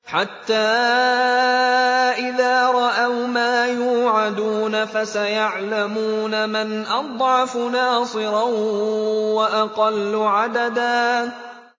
حَتَّىٰ إِذَا رَأَوْا مَا يُوعَدُونَ فَسَيَعْلَمُونَ مَنْ أَضْعَفُ نَاصِرًا وَأَقَلُّ عَدَدًا